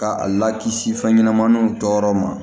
Ka a lakisi fɛn ɲɛnɛmaniw jɔyɔrɔ ma